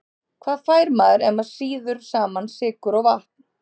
Hvað fær maður ef maður sýður saman sykur og vatn?